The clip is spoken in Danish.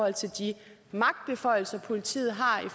af de magtbeføjelser politiet har